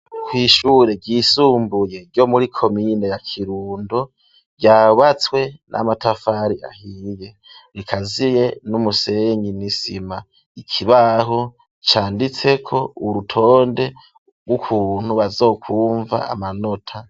Kw'ishure ryisumbuye ryo muri komine ya kirundo ryubatswe n'amatafari ahiye rikaziye n'umusenyi n'isima ikibaho canditseko urutonde bw'ukuntu bazokumva amanota.